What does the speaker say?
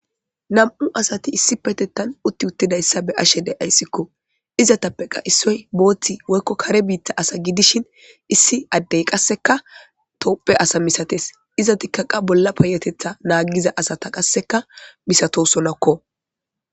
Nam,u asati utidayisa beashe deayis izappeka isoyi botha woyiko kare bitha asa gidishin issi adde qaseka tophe asa misates izatika qase bolla payatetha nagida asata misatosonako